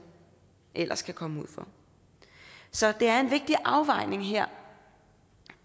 ellers kan komme ud for så det er en vigtig afvejning her